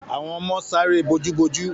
Àwọn ọmọ sare eré bojú bojú